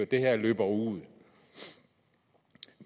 det her løber ud